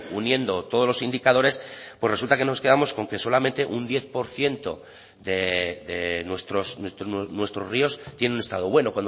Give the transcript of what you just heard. uniendo todos los indicadores pues resulta que nos quedamos con que solamente un diez por ciento de nuestros ríos tienen un estado bueno